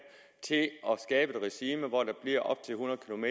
til at skabe et regime hvor der bliver op til hundrede km